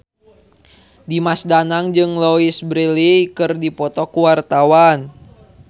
Dimas Danang jeung Louise Brealey keur dipoto ku wartawan